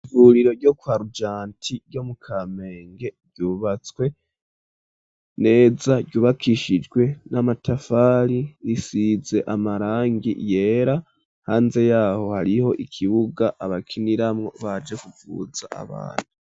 Ihuriro ryo kwa Rojanti ryo mu Kamenge ryubatswe neza, ryubakishijwe n'amatafari, risize amarangi yera, hanze yaho hariho ikibuga bakiniramwo baje kuvuza abantu.